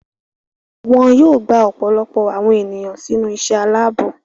Wọn yóò gba ọ̀pọ̀lọpọ̀ àwọn ènìyàn sínú iṣẹ́ aláàbò.